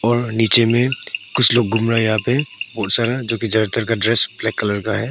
और नीचे में कुछ लोग घूम रहा है यहां पे बहुत सारा ज्यादा तर ड्रेस ब्लैक कलर का है।